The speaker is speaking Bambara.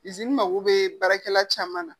mago bɛ baarakɛla caman na